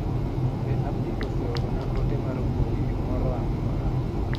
Be Abdi oseoro na ote mar mbui moro amora.